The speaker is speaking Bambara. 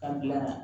An gilan